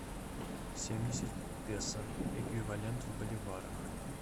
семьдесят песо эквивалент в боливарах